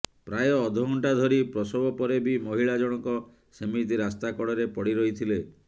ପ୍ରାୟ ଅଧା ଘଣ୍ଟା ଧରି ପ୍ରସବ ପରେ ବି ମହିଳା ଜଣକ ସେମିତି ରାସ୍ତା କଡ଼ରେ ପଡ଼ି ରହିଥିଲେ